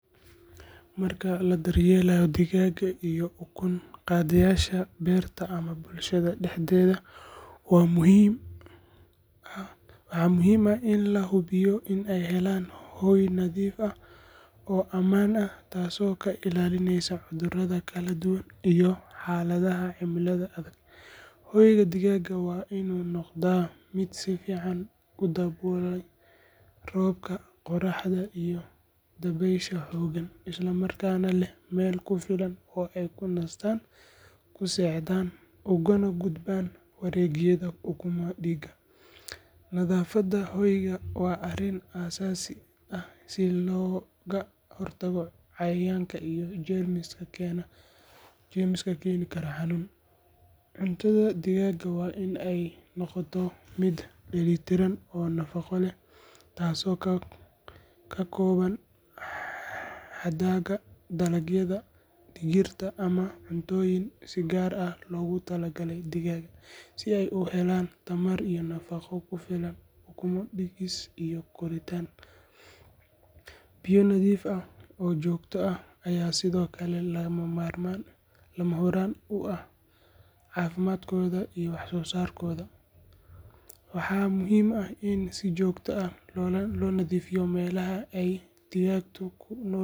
Marka la daryeelayo digaaga iyo ukun-qaadayaasha beerta ama bulshada dhexdeeda waxaa muhiim ah in la hubiyo in ay helaan hoy nadiif ah oo ammaan ah, taasoo ka ilaalinaysa inay qaadaan cuduro kala duwan. Hoyga digaaga waa in uu noqdaa mid ka ilaaliya roobka, qorraxda iyo dabaysha xooggan isla markaana leh meel ku filan oo ay ku nastaan. Cuntada digaaga waa in ay noqotaa mid dheellitiran oo nafaqo leh sida hadhaaga dalagyada, digirta, ama cuntooyinka digaaga loogu talagalay. Biyo nadiif ah oo joogto ah waa shuruud muhiim ah si digaaga loo ilaaliyo caafimaadkooda. Waxaa kaloo muhiim ah in si joogto ah loo nadiifiyo hoyga digaaga si looga hortago cudurada iyo cayayaanka waxyeellada leh. Bulshada ku hawlan dhaqashada digaaga waa in ay si fiican uga warqabaan calaamadaha cudurada, isla markaana ay la xiriiraan xarumaha caafimaadka xoolaha haddii ay arkaan wax dhibaato ah. Daryeelka iyo fiiro gaar ah oo joogto ah ayaa ka dhigaya.